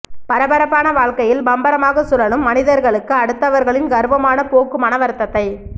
பரபரப்பான வாழ்க்கையில் பம்பரமாக சுழலும் மனிதர்களுக்கு அடுத்தவர்களின் கர்வமான போக்கு மனவருத்தத்தை